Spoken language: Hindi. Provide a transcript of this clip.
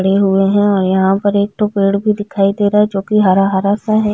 पड़े हुए है और यहाँ पर एक ठो पेड़ भी दिखाई दे रहा है जो की हरा - हरा सा है।